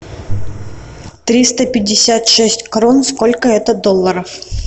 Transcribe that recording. триста пятьдесят шесть крон сколько это долларов